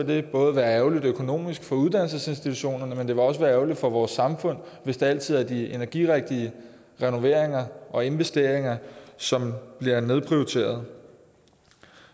det både være ærgerligt økonomisk for uddannelsesinstitutionerne men det vil også være ærgerligt for vores samfund hvis det altid er de energirigtige renoveringer og investeringer som bliver nedprioriteret